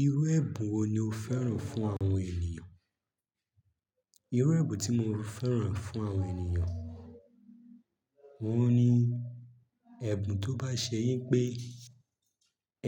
Irú ẹ̀bùn wo ni o fẹ́ràn fún àwọn ènìyàn? Irú ẹ̀bùn tí mo fẹ́ràn fún àwọn ènìyàn, wọ́n ni ẹ̀bùn tó bá ṣe yín pé